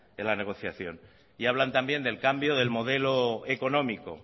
en la negociación y hablan también del cambio del modelo económico